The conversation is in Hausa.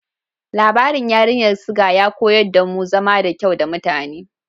Labarin Yarinyar Suga ya koyar damu zama da kyau da mutane.